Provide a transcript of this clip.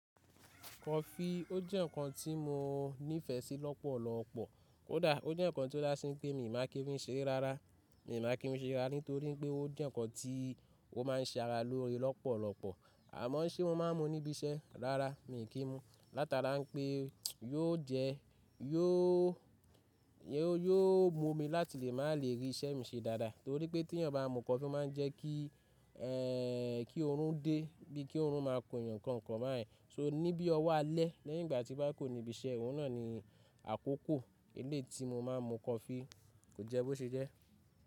Kọfi ó jẹ́ ǹkan tí mo nífẹsí lọ́pọ̀lọpọ̀ kódà ó jẹ́ ǹkan tó dá sí pé mi ò máa kí n fisere rárá. Mi ò makí n mu ṣere rárá nítorí pé ó jẹ́ ǹkan tí ó má ń ṣe ara lóore lọ́pọ̀lọpọ̀. Àmọ́ ṣé mo ma ń mu níbi iṣẹ́ rárá mi i kí n mu látara pé yóò jẹ́, yóò, yóò mú mi láti lè má lè rí isẹ́ mi ṣe dáadáa. Nítorí pé tí ènìyàn bá mu kọfi omá ń jẹ́ kí, kí oorun dé bí i kí oorun máa kun ènìyàn kọ̀ọ̀kan báyìí. So níbí ọwọ́ a lẹ́ leyingbà tí bá kurò ní ibi iṣẹ́. Òun náà ni àkókò eléeti mo má a ń mu kọfi. Kò jẹ́ bó ṣe jẹ́.